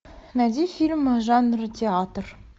найди фильм жанра театр